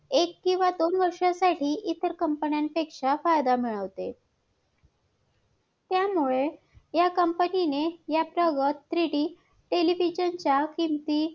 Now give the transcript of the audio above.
आ माझे मत असे आहे की लोकसंख्या कमी करण्यासाठी भारताने तातडीने कायदा करायला पाहिजे.